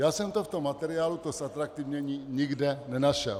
Já jsem to tom v materiálu, to zatraktivnění, nikde nenašel.